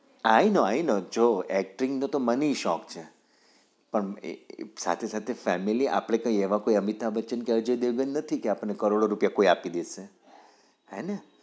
i know i know જો acting નો તો મને શોક છે પણ સાથે સાથે family આપડે એવા કોઈ અમિતાબ બચન કે અજય દેવગન નથી કે આપણને કરોડો રૂપિયા આપી દેશે હે ને